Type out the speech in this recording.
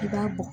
I b'a bɔ